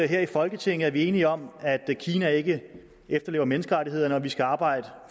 her i folketinget er vi enige om at kina ikke efterlever menneskerettighederne og at vi skal arbejde